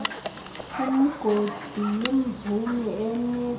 umgodi yimvume enikwa